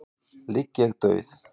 ligg ég dauð.